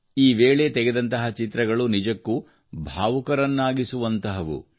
ಈ ವೇಳೆ ತೆಗೆದಂತಹ ಚಿತ್ರಗಳು ನಿಜಕ್ಕೂ ಭಾವುಕರನ್ನಾಗಿಸುವಂಥವು